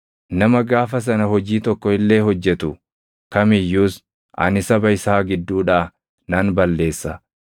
Nama gaafa sana hojii tokko illee hojjetu kam iyyuus ani saba isaa gidduudhaa nan balleessa.